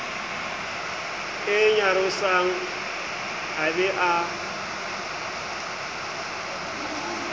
e nyarosang a be a